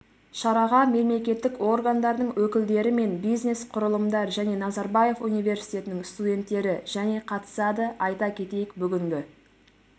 шараға мемлекеттік органдардың өкілдері мен бизнес құрылымдар және назарбаев университетінің студенттері және қатысады айта кетейік бүгінгі